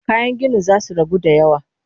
Kayan ginin za su ragu da yawa